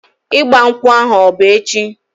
Ịgba nkwụ ahu ọ bụ echi?